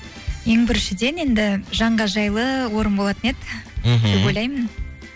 ең біріншіден енді жанға жайлы орын болатын еді мхм деп ойлаймын